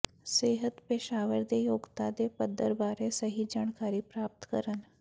ਸਿਹਤ ਪੇਸ਼ਾਵਰ ਦੇ ਯੋਗਤਾ ਦੇ ਪੱਧਰ ਬਾਰੇ ਸਹੀ ਜਾਣਕਾਰੀ ਪ੍ਰਾਪਤ ਕਰਨ